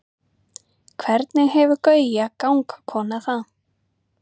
hvernig hefur gauja gangkona það